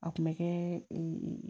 A kun bɛ kɛ ee